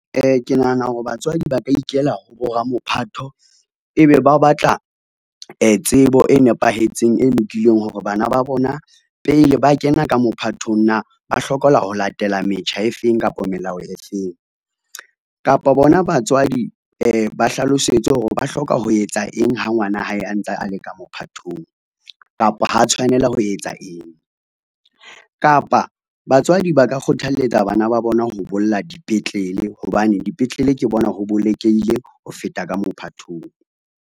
Ke nahana hore batswadi ba ka ikela ho ramophatho, ebe ba batla tsebo e nepahetseng e lokileng hore bana ba bona pele ba kena ka mophatong na ba hlokahala ho latela metjha e feng kapa melao e feng. Kapo bona batswadi ba hlalosetswe hore ba hloka ho etsa eng ha ngwana hae a ntsa a le ka mophathong kapa ha tshwanela ho etsa eng. Kapa batswadi ba ka kgothalletsa bana ba bona ho bolla dipetlele hobane dipetlele ke bona ho bolokehile ho feta ka mophathong.